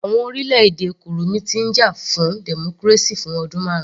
Àwọn orílẹ̀-èdè kurumi ti ń jà fún democracy fún ọdún marun